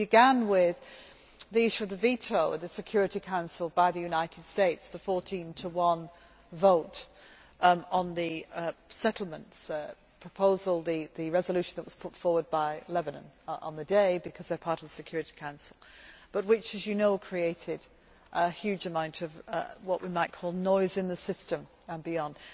We began with the issue of the veto of the Security Council by the United States the 14 to 1 vote on the settlements proposal, the resolution that was put forward by Lebanon on the day, because they are part of the Security Council which, as you know, created a huge amount of what we might call noise in the system and beyond.